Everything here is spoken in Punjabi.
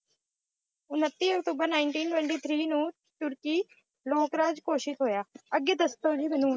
ਉਨੱਤੀ ਅਕਤੂਬਰ Ninteen Twenty Three ਨੂੰ ਤੁਰਕੀ ਲੋਕ-ਰਾਜ ਘੋਸ਼ਿਤ ਹੋਇਆ। ਅੱਗੇ ਦੱਸੋ ਜੀ ਮੈਨੂੰ,